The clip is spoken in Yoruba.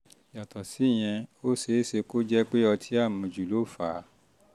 yàtọ̀ síyẹn ó ṣe um é ṣe kó jẹ́ pé ọtí um àmujù ló fà á